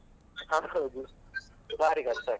ಹೌದು ಬಾರಿ ಕಷ್ಟ ಆಗ್ತದೆ.